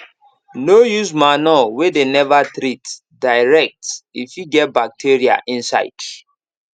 no use manure wey dem never treat direct e fit get bacteria inside